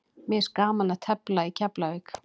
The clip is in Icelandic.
Mér finnst gaman að tefla í Keflavík.